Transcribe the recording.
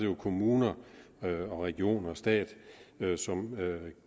jo kommuner og regioner og stat som